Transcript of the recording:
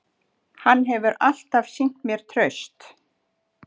Hann hefur alltaf sýnt mér traust